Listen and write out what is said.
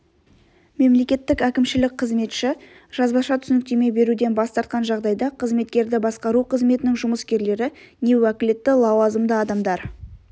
мемлекеттік әкімшілік қызметші жазбаша түсініктеме беруден бас тартқан жағдайда қызметкерді басқару қызметінің жұмыскерлері не уәкілетті лауазымды адамдар